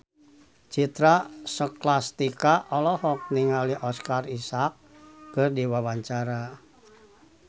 Citra Scholastika olohok ningali Oscar Isaac keur diwawancara